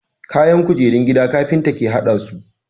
Kayan kujerun gida carpinta ke hadasu